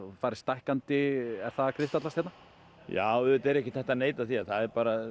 fari stækkandi er það að kristallast hérna já auðvitað er ekkert hægt að neita því að það er